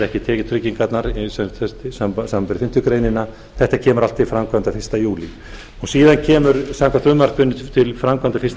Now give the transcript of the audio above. ekki tekjutryggingarnar samanber fimmtu greinar þetta kemur allt til framkvæmda fyrsta júlí síðan kemur samkvæmt frumvarpinu til framkvæmda fyrsta